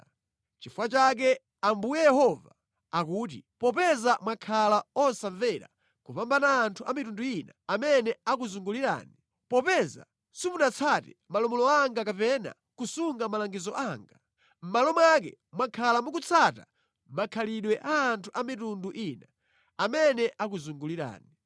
“Nʼchifukwa chake Ambuye Yehova akuti: Popeza mwakhala osamvera kupambana anthu a mitundu ina amene akuzungulirani, popeza simunatsate malamulo anga kapena kusunga malangizo anga, mʼmalo mwake mwakhala mukutsata makhalidwe a anthu a mitundu ina amene akuzungulirani.